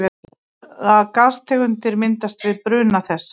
Hvaða gastegundir myndast við bruna þess?